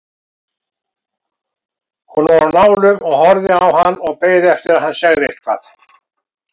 Hún var á nálum og horfði á hann og beið eftir að hann segði eitthvað.